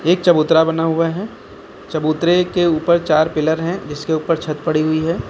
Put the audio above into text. एक चबूतरा बना हुआ है चबूतरे के ऊपर चार पिलर हैं जीसके ऊपर छत पड़ी हुई है।